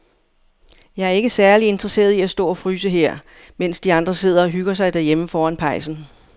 Jeg er ikke særlig interesseret i at stå og fryse her, mens de andre sidder og hygger sig derhjemme foran pejsen.